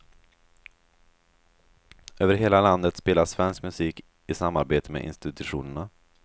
Över hela landet spelas svensk musik i samarbete med institutionerna.